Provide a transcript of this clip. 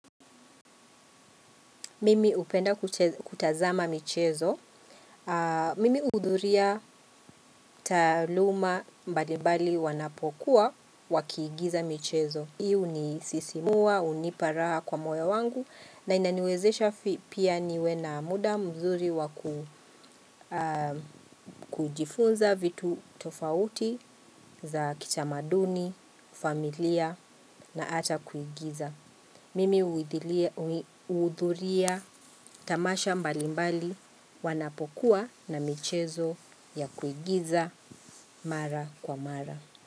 Mimi hupenda kutazama michezo. Mimi huudhuria taaluma mbalimbali wanapokuwa wakiigiza michezo. Hii hunisisimua, hunipa raha kwa moyo wangu na inaniwezesha pia niwe na muda mzuri wakujifunza vitu tofauti za kitamaduni, familia na ata kuigiza. Mimi huudhuria tamasha mbalimbali wanapokuwa na michezo ya kuigiza mara kwa mara.